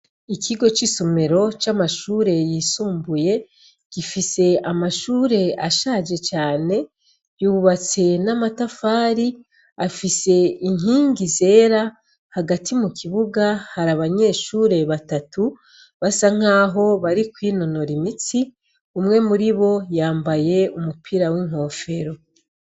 Ikigo cisomero camashure yisumbuye gifise amashure ashaje cane cubatse namatafari afise inkingi zera hagati mukibuga hari abanyeshure batatu basankaho bari kwinonora imitsi umwe muribo yambaye umupira winkofero